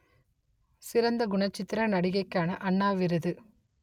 சிறந்த குணச்சித்திர நடிகைக்காக அண்ணா விருது